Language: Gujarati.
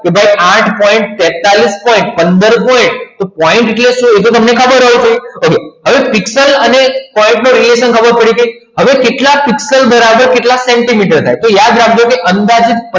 કે ભાઈ આઠ point તેતાલીસ point પંદર point એટલે શું એ તમને ખબર હોય છે okay હવે પિક્સેલ અને point નો radiation ખબર પડી ગઈ હવે કેટલા પીક્સલ બરાબર કેટલા સેન્ટીમીટર થાય તો યાદ રાખજો કે અંદાજિત